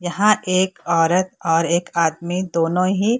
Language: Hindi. यहाँ एक औरत और एक आदमी दोनों ही --